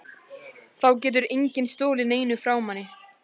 Þá getur enginn stolið neinu frá manni.